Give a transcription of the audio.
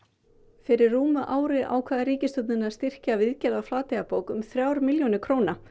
fyrir rúmu ári ákvað ríkisstjórnin að styrkja viðgerð á Flateyjarbók um þrjár milljónir króna